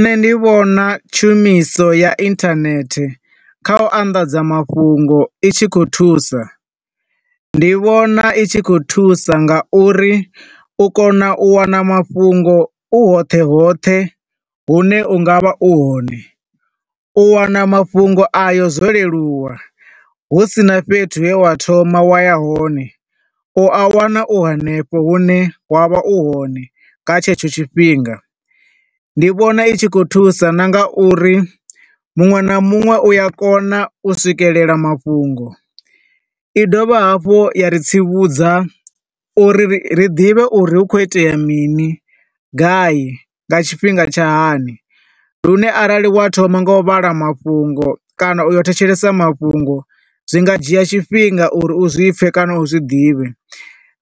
Nṋe ndi vhona tshumiso ya internet kha u anḓadza mafhungo i tshi khou thusa. Ndi vhona i tshi khou thusa nga uri u kona u wana mafhungo u hoṱhe hoṱhe hu ne unga vha u hone. U wana mafhungo a yo zwo leluwa hu sina fhethu he wa thoma wa ya hone, u a wana u hanefho hu ne wa vha u hone nga tshetsho tshifhinga. Ndi vhona i tshi khou thusa na nga uri muṅwe na muṅwe u a kona u swikelela mafhungo. I dovha hafhu ya ri tsivhudza uri ri ḓivhe uri hu khou itea mini, gai, nga tshifhinga tsha hani lune arali wa thoma nga u vhala mafhungo kana u yo thetshelesa mafhungo, zwi nga dzhia tshifhinga uri u zwipfe kana u zwiḓivhe,